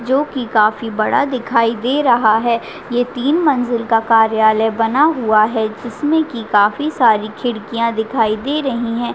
जो की काफी बड़ा दिखाई दे रहा है ये तीन मंजिल का कार्यालय बना हुआ है जिसमे की काफी सारी खिड़किया दिखाई दे रही है।